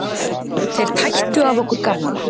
Þeir tættu af okkur garmana.